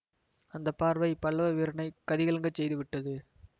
அந்த பார்வை பல்லவ வீரனைக் கதிகலங்கச் செய்து விட்டது